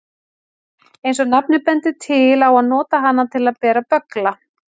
Eins og nafnið bendir til á að nota hana til að bera böggla.